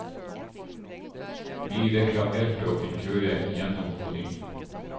Vi reklamerte og fikk kjøre igjennom på ny.